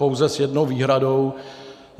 Pouze s jednou výhradou.